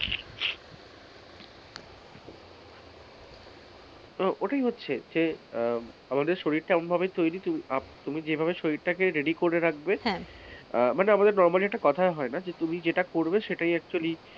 এটাই হচ্ছে যে আহ আমাদের শরীরটা এমন ভাবে তৈরি আপ তুমি শরীরটাকে যে ভাবে ready করে রাখবে, মানে আমাদের normally একটা কথা হয় না যে,